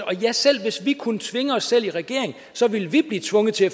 og ja selv hvis vi kunne tvinge os selv i regering så ville vi blive tvunget til